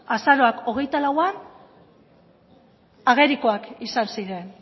azaroak hogeita lauan agerikoak izan ziren